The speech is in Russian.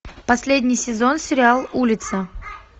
последний сезон сериал улица